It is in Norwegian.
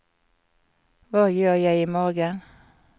hva gjør jeg imorgen